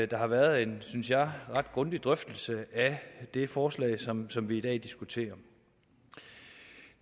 der har været en synes jeg ret grundig drøftelse af det forslag som som vi i dag diskuterer